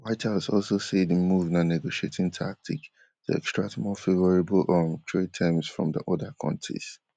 white house also say di move na negotiating tactic to extract more favourable um trade terms from oda kontis